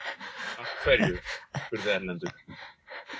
Af hverju? spurði Erlendur.